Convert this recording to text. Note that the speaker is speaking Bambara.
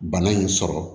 Bana in sɔrɔ